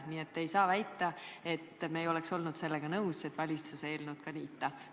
Nii et ei saa väita, nagu me ei oleks olnud nõus sellega, et ka valitsuse eelnõu liita.